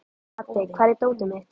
Haddi, hvar er dótið mitt?